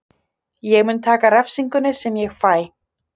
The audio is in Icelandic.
Ég mun taka refsingunni sem ég fæ.